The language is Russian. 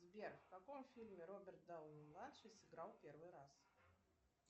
сбер в каком фильме роберт дауни младший сыграл в первый раз